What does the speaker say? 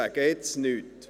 Ich sage jetzt nichts!